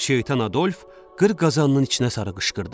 Şeytan Adolf qır qazanının içinə sarı qışqırdı.